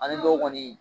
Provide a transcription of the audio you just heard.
Ani dɔw kɔni